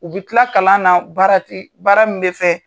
U bi tila kalan na baarati baara min be fɛ